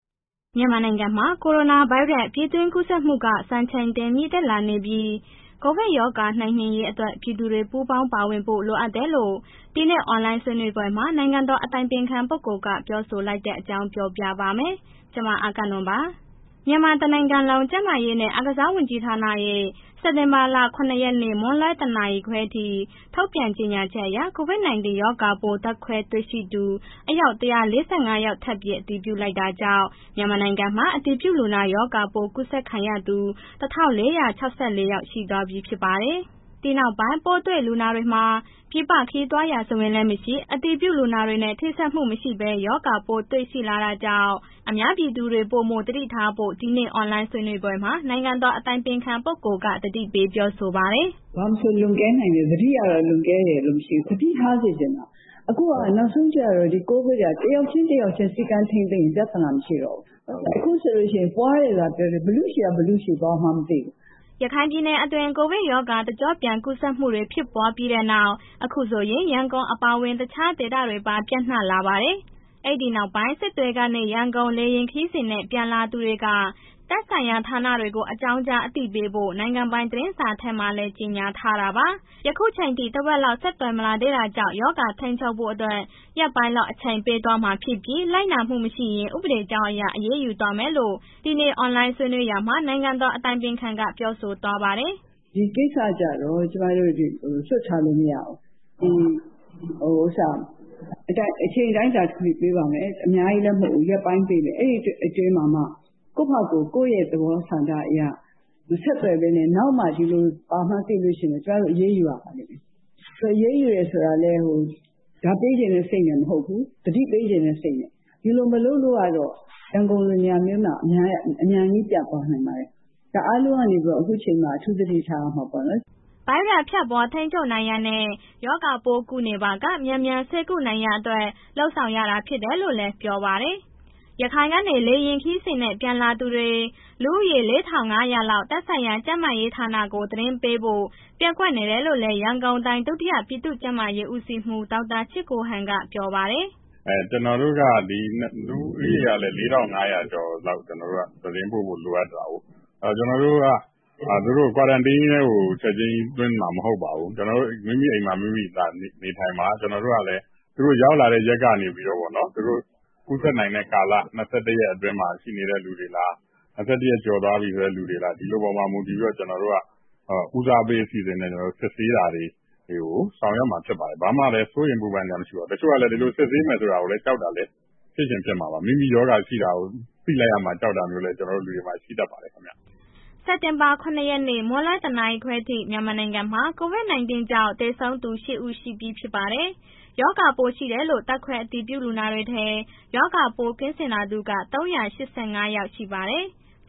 မြန်မာနိုင်ငံမှာ ကိုရိုနာဗိုင်းရပ်စ် ပြည်တွင်းကူးစက်မှုက စံချိန်တင် မြင့်တက်လာနေပြီး ကိုဗစ်ရောဂါ နှိမ်နင်းရေးအတွက် ပြည်သူတွေ ပူးပေါင်းပါဝင်ဖို့ လိုအပ်တယ်လို့ ဒီနေ့အွန်လိုင်းဆွေးနွေးပွဲမှာ နိုင်ငံတော် အတိုင်ပင်ခံ၏ ပုဂ္ဂိုလ်က ပြောဆိုလိုက်တဲ့ အကြောင်း ပြောပြပါမယ်။ ဗွီအိုအေမြန်မာပိုင်းသတင်းထောက် မအဂ္ဂနွန်က သတင်းပေးပို့ထားပါတယ်။ မြန်မာတစ်နိုင်ငံလုံး ကျန်းမာရေးနဲ့ အားကစားဝန်ကြီးဌာနရဲ့စက်တင်ဘာလ ၇ ရက် မွန်းလွဲ ၁ နာရီခွဲထိ ထုတ်ပြန်ကြေညာချက်အရ COVID-19 ရောဂါပိုး ဓါတ်ခွဲတွေ့ရှိသူ အယောက် ၁၄၅ ယောက် ထပ်ပြီး အတည်ပြုလိုက်တာကြောင့် မြန်မာနိုင်ငံမှာ အတည်ပြုရောဂါပိုးကူးစက်ခံရသူ ၁,၄၆၄ ယောက်ဖြစ်သွားပါတယ်။ ဒီနောက်ပိုင်း ပိုးတွေ့လူနာတွေမှာ ပြည်ပခရီးသွားရာဇဝင်လည်း မရှိ၊ အတည်ပြုလူနာနဲ့ ထိစပ်မှုမရှိဘဲ ရောဂါပိုးတွေ့လာတာကြောင်း အပြည်သူတွေ ပိုမိုသတိထားဖို့ ဒီနေ့ အွန်လိုင်းဆွေးနွေးပွဲ နိုင်ငံတော် အတိုင်ပင်ခံပုဂ္ဂိုလ်က သတိပေး ပြောဆိုပါတယ်။ “ဘာမဆို လွန်ကဲနိုင်တယ်၊ သတိကတော့ လွန်ကဲတယ်ဆိုတာ မရှိဘူး၊ သတိထားစေချင်တာ အခုက နောက်ဆုံးကျတော့ ကိုဗစ်က တစ်ယောက်ချင်း၊ တစ်ယောက်ချင်း စည်းကမ်းထိန်းသိမ်းရင် ပြဿနာမရှိတော့ဘူး၊ အခုဆိုလို့ရှိရင်ပွားတယ်လို့သာ ပြောတာ ဘယ်သူ့ဆီက ဘယ်သူ့ဆီပွားမှန်း မသိဘူး။” ရခိုင်ပြည်နယ်အတွင်း ကိုဗစ်ရောဂါ တကျော့ပြန် ကူးစက်မှုတွေဖြစ်ပွားပြီးတဲ့နောက် အခုဆိုရင် ရန်ကုန်အပါအဝင် တခြားဒေသတွေပါ ပျံ့နှံ့လာပါတယ်။ အဲ့ဒီနောက်ပိုင်း စစ်တွေကနေ ရန်ကုန် လေယာဉ်ခရီးစဉ်နဲ့ ပြန်လာသူတွေက သက်ဆိုင်ရာဌာနတွေကို အကြောင်းကြားအသိပေးဖို့ နိုင်ငံပိုင်းသတင်းထဲမှာလည်း ကြေညာထားတာပါ။ ယခုချိန်ထိ တစ်ဝက်လောက် ဆက်သွယ်မလာသေးတာကြောင့် ရောဂါထိန်းချုပ်ဖို့အတွက် ရက်ပိုင်းလောက်အချိန်ပေးသွားမှာဖြစ်ပြီး လိုက်နာမှုမရှိရင် ဥပဒေကြောင်းအရ အရေးယူသွားမယ်လို့ ဒီနေ့ အွန်လိုင်းဆွေးနွေးရာမှာ နိုင်ငံတော်အတိုင်ပင်ခံက ပြောဆိုသွားပါတယ်။ “ဒီကိစ္စကျတော့ ကျမတို့ လွှတ်ထားလို့ မရဘူး၊ အချိန်တိုင်းတာထိ ပေးပါမယ်၊ အများကြီးလည်း မဟုတ်ဘူး ရက်ပိုင်းပေးမယ်၊ အဲ့ဒီအတွင်းမှာမှ ကိုယ့်ဘာသာကိုယ် ကိုယ့်ရဲ့သဘောဆန္ဒအရ မဆက်သွယ်ဘဲနဲ့ နောက်မှဒီလို ဘာမှန်းသိလို့ရှိရင် ကျမတို့ အရေးယူရပါလိမ့်မယ်၊ အရေးယူတဲ့ဆိုတာလည်း ဒဏ်ပေးချင်တဲ့ စိတ်နဲ့ မဟုတ်ဘူး၊ သတိပေးချင်တဲ့ စိတ်နဲ့ ဒီလို မလုပ်လို့ကတော့ ရန်ကုန်လို နေရာမျိုးမှာ အမြန်ကြီး ပြန့်သွားနိုင်ပါတယ်၊ ဒါအားလုံးကနေပြီးတော့ အခုချိန်မှာ အထူးသတိထားရမှာပေါ့နော်။” ဗိုင်းရပ်စ်ပြန့်ပွားထိန်းချုပ်နိုင်ရန်နဲ့ ရောဂါပိုးကူးနေပါက မြန်မြန်ဆေးကုနိုင်ရန်အတွက် လုပ်ဆောင်ရတာဖြစ်တယ်လို့လည်း ပြောပါတယ်။ ရခိုင်ကနေ လေယာဉ်ခရီးစဉ်နဲ့ ပြန်လာသူတွေ လူဦးရေ ၄,၅၀၀ လောက် သက်ဆိုင်ရာကျန်းမာရေးဌာနကို သတင်းပေးဖို့ ပျက်ကွက်နေတယ်လို့လည်း ရန်ကုန်တိုင်း ဒုတိယပြည်သူ့ကျန်းမာရေး ဦးစီးဌာနမှူးဒေါက်တာချစ်ကိုဟန် ပြောပါတယ်။ “ကျနော်တို့က လူဦးရေကလည်း ၄,၅၀၀ ကျော်လောက် သတင်းပို့ဖို့ လိုအပ်တာကိုး။ ကျနော်တို့က သူတို့ကို Quarantine ထဲကို ချက်ချင်းသွင်းမှာ မဟုတ်ပါဘူး၊ မိမိအိမ်မှာ မိမိနေထိုင်ပါ၊ ကျနော်တို့ကလည်း သူတို့ရောက်လာတဲ့ ရက်ကနေပြီးတော့နော် သူတို့ ကူးစက်နိုင်တဲ့ ကာလ ၂၁ ရက်အတွင်းမှာ ရှိနေတဲ့ လူတွေလား၊ ၂၁ ရက်ကျော်သွားတဲ့ လူတွေလား၊ ဒီလူတွေအပေါ်မူတည်ပြီးတော့ ကျနော်တို့က ဦးစားပေးအစီအစဉ်နဲ့ ကျနော်တို့ စစ်ဆေးတာတွေ ဆောင်ရွက်မှာ ဖြစ်ပါတယ်။ ဘာမှလည်း စိုးရိမ်ပူပင်စရာမရှိပါဘူး။ တချို့ကလည်း ဒီလိုစစ်ဆေးမယ်ဆိုတာကို ကြောက်တာလည်း ဖြစ်ချင်ဖြစ်မှာပါ၊ မိမိရောဂါရှိတာကိုး သိလိုက်ရမှာ ကြောက်တာမျိုးလည်း ကျနော်တို့လူတွေမှာ ရှိတတ်ပါတယ်ခင်ဗျာ။” စက်တင်ဘာလ ၇ ရက်နေ့ မွန်းလွဲ ၁နာရီခွဲထိ မြန်မာနိုင်ငံမှာ COVID-19 ကြောင့် သေဆုံးသူ ၈ ဦးရှိပြီဖြစ်ပါတယ်။ ရောဂါပိုးရှိတယ်လို့ ဓါတ်ခွဲအတည်ပြုလူနာတွေထဲ ရောဂါပိုးကင်းစင်လာသူက ၃၈၅ ယောက် ရှိပါတယ်။